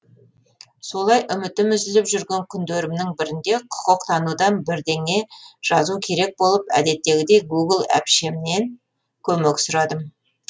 солай үмітім үзіліп жүрген күндерімнің бірінде құқықтанудан бірдене жазу керек болып әдеттегідей гугл әпшемнен көмек сұрадым